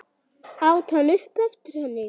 át hann upp eftir henni.